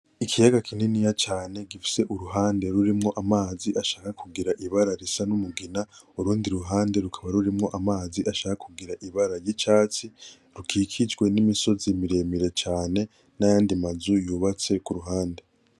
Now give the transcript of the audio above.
Ikiyaga kininiya cane gifise uruhande rurimwo amazi ashaka kugira ibara risa n'umugina, urundi ruhande rukaba rurimwo amazi ashaka kugira ibara ry'icatsi, rukikijwe n'imisozi miremire cane n'ayandi mazu yubatse k'uruhande.